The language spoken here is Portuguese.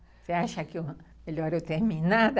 Você acha que é melhor eu terminar?